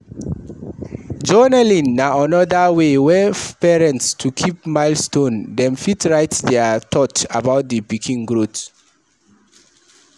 Journalling na anoda wey for parents to keep milestone, dem fit write their though about di pikin growth